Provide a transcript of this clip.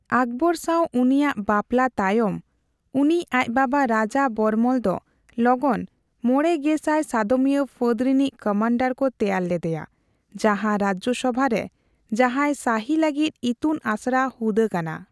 ᱚᱠᱵᱚᱨ ᱥᱟᱣ ᱩᱱᱤᱣᱟᱜ ᱵᱟᱯᱞᱟ ᱛᱟᱭᱚᱢ, ᱩᱱᱤ ᱟᱡ ᱵᱟᱵᱟ, ᱨᱟᱡᱟ ᱵᱚᱨᱢᱚᱞ ᱫᱚ ᱞᱚᱜᱚᱱ ᱢᱚᱲᱮ ᱜᱮᱥᱟᱭ ᱥᱟᱫᱚᱢᱤᱭᱟᱹ ᱯᱷᱟᱹᱫᱽ ᱨᱤᱱᱤᱡ ᱠᱟᱢᱟᱱᱰᱟᱨ ᱠᱚ ᱛᱮᱭᱟᱨ ᱞᱮᱫᱮᱭᱟ, ᱡᱟᱦᱟ ᱨᱟᱡᱥᱚᱵᱷᱟ ᱨᱮ ᱡᱟᱸᱦᱟᱭ ᱥᱟᱹᱦᱤ ᱞᱟᱹᱜᱤᱫ ᱤᱛᱩᱱ ᱟᱥᱲᱟ ᱦᱩᱫᱟᱹ ᱠᱟᱱᱟ᱾